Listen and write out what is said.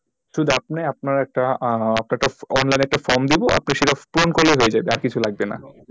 শুধু আপনি আপনার একটা আহ online এ একটা form দেব আপনি সেটা পূরণ করলেই হয়েযাবে আর কিছু লাগবে না।